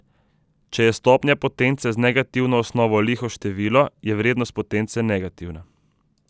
Če je stopnja potence z negativno osnovo liho število, je vrednost potence negativna.